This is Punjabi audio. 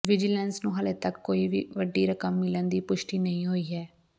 ਵਿਜੀਲੈਂਸ ਨੂੰ ਹਾਲੇ ਤੱਕ ਕੋਈ ਵੱਡੀ ਰਕਮ ਮਿਲਣ ਦੀ ਪੁਸ਼ਟੀ ਨਹੀਂ ਹੋਈ ਹੈ